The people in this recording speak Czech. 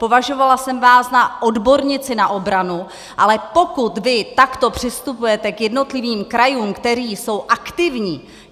Považovala jsem vás za odbornici na obranu, ale pokud vy takto přistupujete k jednotlivým krajům, které jsou aktivní...